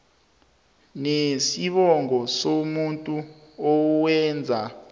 nesibongo somuntu owenza